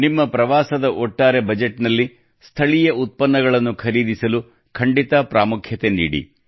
ನಿಮ್ಮ ಪ್ರವಾಸದ ಒಟ್ಟಾರೆ ಬಜೆಟ್ನಲ್ಲಿ ಸ್ಥಳೀಯ ಉತ್ಪನ್ನಗಳನ್ನು ಖರೀದಿಸಲು ಖಂಡಿತ ಪ್ರಮುಖ ಆದ್ಯತೆ ನೀಡಿ